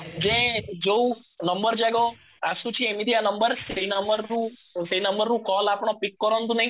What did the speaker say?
ଯେ ଯୋଉ ନମ୍ବର ଯାକ ଆସୁଛି ଏମିତିଆ ନମ୍ବର ସେଇ ନମ୍ବରରୁ ସେଇ ନମ୍ବରରୁ କଲ ଆପଣ pick କରନ୍ତୁ ନାହିଁ